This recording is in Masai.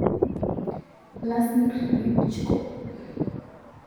Wlasmir Klitschko.